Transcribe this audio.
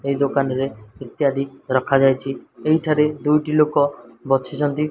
ଏହି ଦୋକାନରେ ଇତ୍ୟାଦି ରଖାଯାଇଚି ଏହି ଠାରେ ଦୁଇଟି ଲୋକ ବଚିଚନ୍ତି --